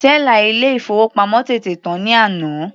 Tẹ́là ilé ìfowópamọ́ tètè tán ní àná.